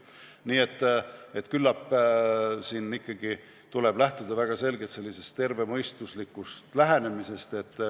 Nii et küllap tuleb ikkagi lähtuda sellisest tervemõistuslikust lähenemisest.